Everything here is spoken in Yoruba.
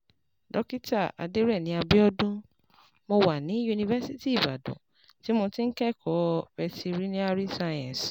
Dókítà Adereni Abiodun: Mo wà ní Yunifásítì Ibadan tí mo ti ń kẹ́kọ̀ọ́ Veterinary Science